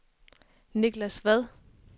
Niklas Vad